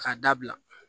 K'a dabila